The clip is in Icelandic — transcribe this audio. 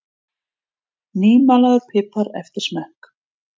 nýmalaður pipar eftir smekk